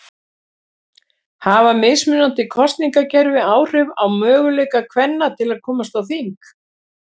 Hafa mismunandi kosningakerfi áhrif á möguleika kvenna til að komast á þing?